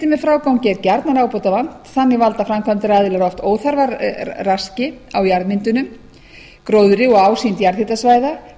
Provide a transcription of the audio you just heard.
með frágangi er gjarnan ábótavant þannig valda framkvæmdaraðilar oft óþarfaraski á jarðmyndunum gróðri og ásýnd jarðhitasvæða